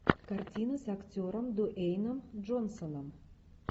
картина с актером дуэйном джонсоном